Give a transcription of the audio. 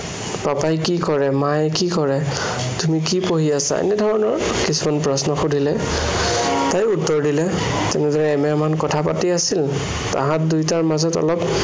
পাপাই কি কৰে, মায়ে কি কৰে, তুমি কি পঢ়ি আছা? এনেধৰনৰ কিছুমান প্ৰশ্ন সুধিলে। তাইয়ো উত্তৰ দিলে। এনেদৰে এমাহ মান কথা পাতি আছিল। তাহাঁত দুয়োটাৰ মাজত অলপ